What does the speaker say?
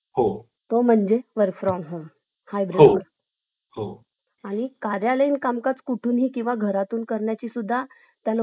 अडचणी सुद्धा येऊ शकतात meeting ला जर बसले आणि मध्ये जर कोणा आल वगैरे की तर पाहुणे लोक घरी आले तर तुम्हीच येतात अरे ही ही बाइ तर घरीच आहे नाही काय